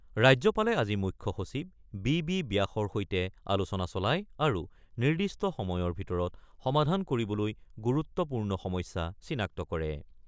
ৰাজ্যপালে আজি মুখ্য সচিব বি বি ব্যাসৰ সৈতে আলোচনা চলায় আৰু নিৰ্দিষ্ট সময়ৰ ভিতৰত সমাধান কৰিবলৈ গুৰুত্বপূৰ্ণ সমস্যা চিনাক্ত কৰে।